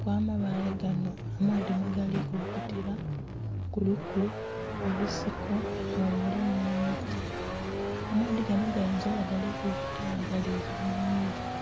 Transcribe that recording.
kwa mabaale ganho amaadhi mwe gali kukulukutira kuliku ebisiko nho muli nhe miti, amaadhi ganho gayinza oba nga gali kulukuta nga galigya mu mwigaa .